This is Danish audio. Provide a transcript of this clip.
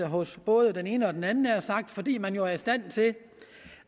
hos både den ene og den anden havde sagt fordi man jo er i stand til